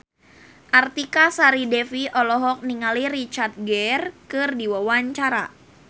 Artika Sari Devi olohok ningali Richard Gere keur diwawancara